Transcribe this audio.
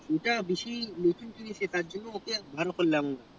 ভালো করলাম